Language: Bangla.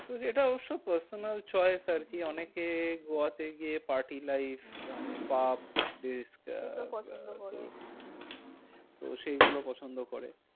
এটা অবশ্য personal choice আরকি, হম হম অনেকে গোয়াতে গিয়ে party life হম মানে puff পছন্দ করে। তো সেগুলো পছন্দ করে।